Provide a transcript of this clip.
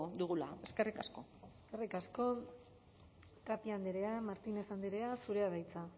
dugula eskerrik asko eskerrik asko tapia andrea martinez andrea zurea da hitza